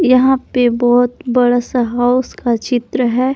यहां पे बहुत बड़ा सा हाउस का चित्र है।